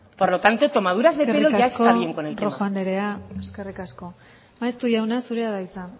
por lo tanto tomaduras de pelo ya está bien con el tema eskerrik asko rojo anderea eskerrik asko maeztu jauna zurea da hitza